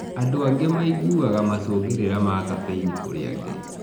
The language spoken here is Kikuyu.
Andũ angĩ maiguaga macũngĩrira ma caffeini kũrĩ angĩ.